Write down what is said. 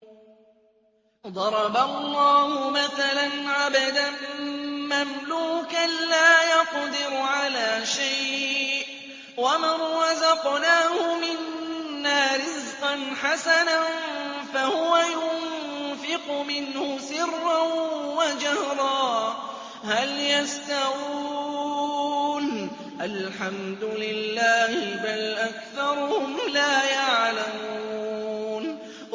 ۞ ضَرَبَ اللَّهُ مَثَلًا عَبْدًا مَّمْلُوكًا لَّا يَقْدِرُ عَلَىٰ شَيْءٍ وَمَن رَّزَقْنَاهُ مِنَّا رِزْقًا حَسَنًا فَهُوَ يُنفِقُ مِنْهُ سِرًّا وَجَهْرًا ۖ هَلْ يَسْتَوُونَ ۚ الْحَمْدُ لِلَّهِ ۚ بَلْ أَكْثَرُهُمْ لَا يَعْلَمُونَ